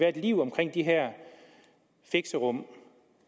et liv omkring de her fixerum